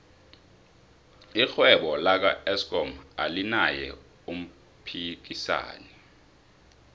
irhwebo laka eskom alinaye umphikisani